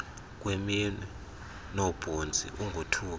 kweminwe noobhontsi ungothuki